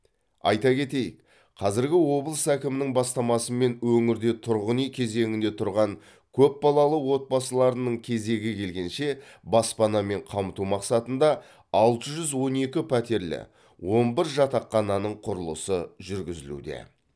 айта кетейік қазіргі облыс әкімінің бастамасымен өңірде тұрғын үй кезегінде тұрған көпбалалы отбасыларының кезегі келгенше баспанамен қамту мақсатында алты жүз он екі пәтерлі он бір жатақхананың құрылысы жүргізілуде